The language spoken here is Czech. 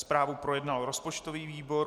Zprávu projednal rozpočtový výbor.